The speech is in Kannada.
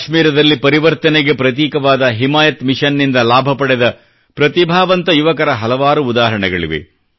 ಜಮ್ಮು ಕಾಶ್ಮೀರದಲ್ಲಿ ಪರಿವರ್ತನೆಗ ಪ್ರತೀಕವಾದ ಹಿಮಾಯತ್ ಮಿಷನ್ ನಿಂದ ಲಾಭ ಪಡೆದ ಪ್ರತಿಭಾವಂತ ಯುವಕರ ಹಲವಾರು ಉದಾಹರಣೆಗಳಿವೆ